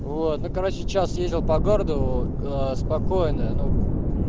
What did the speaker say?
ладно короче час ездил по городу аа спокойно ну